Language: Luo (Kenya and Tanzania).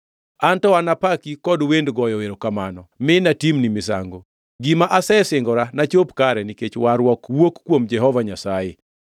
An to napaki kod wend goyo erokamano mi natimni misango. Gima asesingora nachop kare nikech warruok wuok kuom Jehova Nyasaye.”